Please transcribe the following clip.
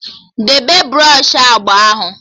Debe bros u agba ahụ!